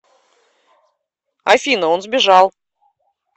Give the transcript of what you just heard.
афина он сбежал